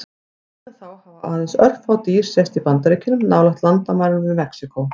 Síðan þá hafa aðeins örfá dýr sést í Bandaríkjunum, nálægt landamærunum við Mexíkó.